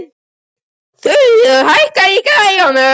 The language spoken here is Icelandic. Þuríður, hækkaðu í græjunum.